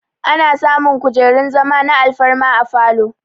Ana samun kujerun zama na alfarma a falow